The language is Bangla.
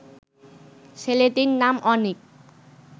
ছেলেটির নাম অনিক